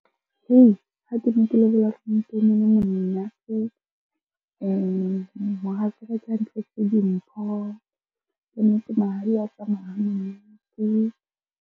Ha ke ne ke lobola mohatsaka ke ha a ntletse dimpho. Kannete mahadi a tsamaya .